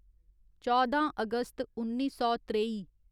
चौदां अगस्त उन्नी सौ त्रेई